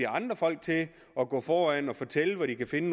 andre folk til at gå foran og fortælle hvor de kan finde